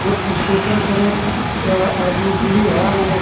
इस स्टेशन पर एक आदमी है ओ--